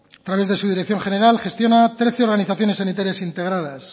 a través de su dirección general gestiona trece organizaciones sanitarias integradas